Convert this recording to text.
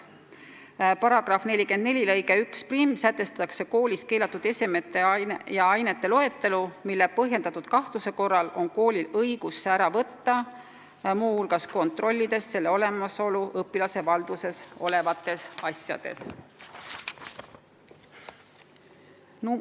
Seaduse § 44 lõikes 11 on toodud koolis keelatud esemete ja ainete loetelu, mille põhjendatud kahtluse korral on koolil õigus nende olemasolu kontrollida ja need ära võtta.